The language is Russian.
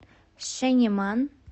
шенеман